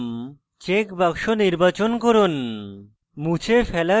delete atom check box নির্বাচন করুন